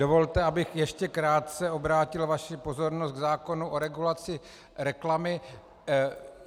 Dovolte, abych ještě krátce obrátil vaši pozornost k zákonu o regulaci reklamy.